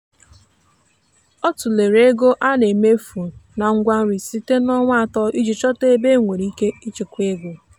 ọ tụlere ego a na-emefu na ngwa nri site n'ọnwa atọ iji chọta ebe e nwere ike ịchekwa ego.